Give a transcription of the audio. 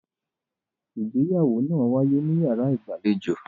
Ìgbéyàwó náà wáyé níyàrá ìgbàlejò.